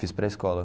Fiz pré-escola.